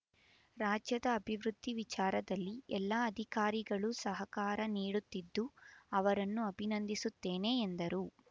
ರಾಜ್ಯದ ಅಭಿವೃದ್ಧಿ ವಿಚಾರದಲ್ಲಿ ಎಲ್ಲ ಅಧಿಕಾರಿಗಳು ಸಹಕಾರ ನೀಡುತ್ತಿದ್ದು ಅವರನ್ನು ಅಭಿನಂದಿಸುತ್ತೇನೆ ಎಂದರು